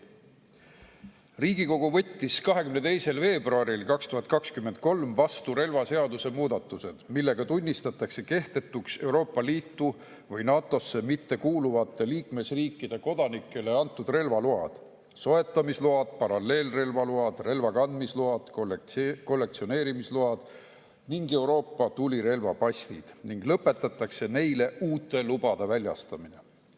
Riigikogu võttis 22. veebruaril 2023 vastu relvaseaduse muudatused, millega tunnistatakse kehtetuks Euroopa Liitu või NATO-sse mittekuuluvate riikide kodanikele antud relvaload, soetamisload, paralleelrelvaload, relvakandmisload, kollektsioneerimisload ja Euroopa tulirelvapassid ning lõpetatakse neile uute lubade väljastamine.